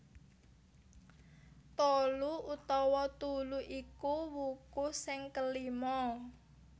Tolu utawa Tulu iku wuku sing kelima